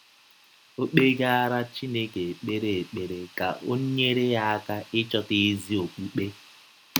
Ọ kpegaara Chineke ekpere ekpere ka ọ nyere ya aka ịchọta ezi ọkpụkpe.